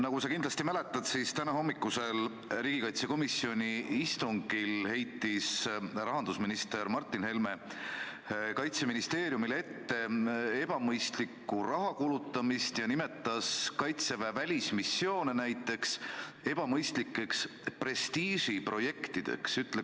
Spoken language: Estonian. Nagu sa kindlasti mäletad, siis tänahommikusel riigikaitsekomisjoni istungil heitis rahandusminister Martin Helme Kaitseministeeriumile ette ebamõistlikku rahakulutamist ja nimetas Kaitseväe välismissioone näiteks ebamõistlikeks prestiižiprojektideks.